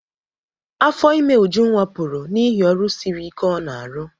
Afọ ime Ujunwa pụrụ n'ihi ọrụ siri ike ọ n'arụ.